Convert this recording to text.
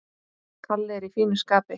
Kalli er í fínu skapi.